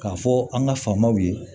K'a fɔ an ka faamaw ye